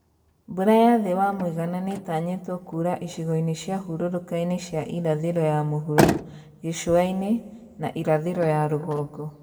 Mbura ya thĩ wa mũigana nĩtanyĩtwo kuura icigo-inĩ cia hũrũrũka-inĩ cia irathĩro ya mũhuro, gĩcũa-inĩ, na irathĩro ya rũgongo